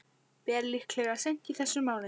Ber líklega seint í þessum mánuði.